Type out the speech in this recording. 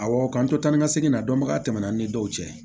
Awɔ k'an to tan ni ka segin na dɔnbaga tɛmɛna an ni dɔw cɛ